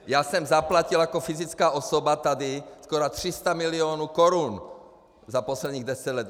Já jsem zaplatil jako fyzická osoba tady skoro 300 mil. korun za posledních deset let!